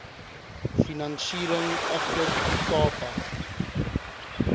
finansiering agter ikapa